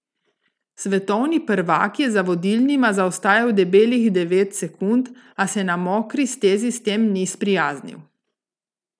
Svetovni prvak je za vodilnima zaostajal debelih devet sekund, a se na mokri stezi s tem ni sprijaznil.